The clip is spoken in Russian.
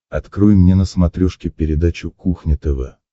открой мне на смотрешке передачу кухня тв